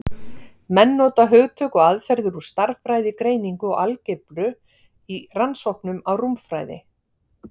menn nota hugtök og aðferðir úr stærðfræðigreiningu og algebru í rannsóknum á rúmfræði